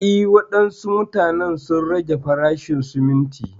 Eh, wadansu wuraren sun rage farashin sumunti.